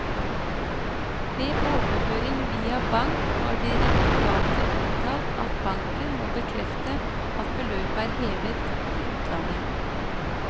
Ved overføring via bank har direktoratet uttalt at banken må bekrefte at beløpet er hevet i utlandet.